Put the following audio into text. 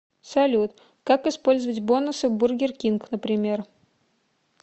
салют как использовать бонусы в бургер кинг например